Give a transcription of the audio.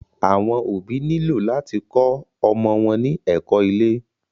Àwọn òbí nílò láti kó ọmọ wọn ní ẹ̀kó ilé.